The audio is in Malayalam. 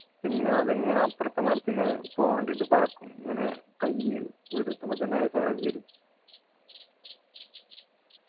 പിന്നെ അതിങ്ങനെ അപ്പറത്തെ മരത്തേക്ക് പോവാൻ വേണ്ടീട്ടു പറക്കും ഇങ്ങനെ കയ്യ് വിടർത്തുമ്പോ തന്നെ അത് ചിറക് വരും